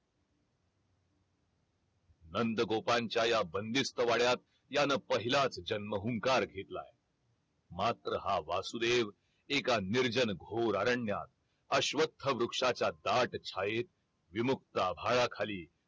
नंद गोपांच्या या बंदिस्त वाड्यात यान पहिलाच जन्महुंकार घेतला मात्र हा वासुदेव एका निर्जन घोर अरण्यात अश्वथ वृक्षाच्या दाट छायेत विमुक्त आभाळा खाली